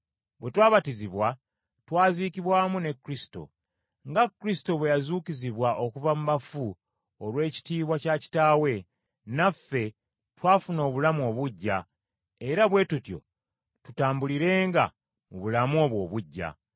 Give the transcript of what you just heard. Bwe twabatizibwa twaziikibwa wamu ne Kristo. Nga Kristo bwe yazuukizibwa okuva mu bafu olw’ekitiibwa kya Kitaawe, naffe twafuna obulamu obuggya, era bwe tutyo tutambulirenga mu bulamu obwo obuggya.